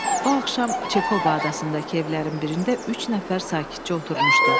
O axşam Çekoba adasındakı evlərin birində üç nəfər sakitcə oturmuşdu.